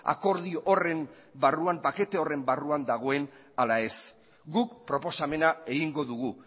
akordio horren barruan pakete horren barruan dagoen ala ez guk proposamena egingo dugu